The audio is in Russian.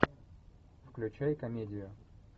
включай комедию